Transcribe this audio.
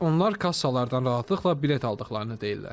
Onlar kassalardan rahatlıqla bilet aldıqlarını deyirlər.